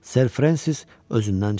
Ser Frensis özündən çıxdı.